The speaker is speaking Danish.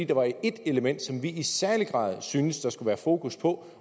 der var et element som vi i særlig grad synes at der skulle være fokus på